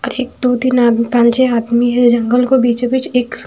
और एक दो दिन आदमी पाँच छे हाथ में हैं जंगल को बीचों बीच एक--